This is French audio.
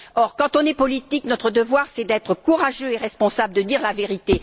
Or, quand on fait de la politique, notre devoir est d'être courageux et responsables, de dire la vérité.